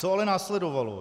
Co ale následovalo?